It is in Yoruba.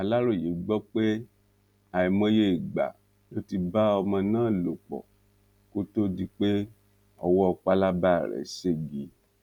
aláròye gbọ pé àìmọye ìgbà lo ti bá ọmọ náà lò pọ kó tóó di pé owó pálábá rẹ ségi